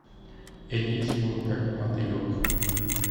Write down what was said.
элизиум как мотылек